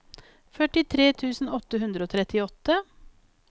førtitre tusen åtte hundre og trettiåtte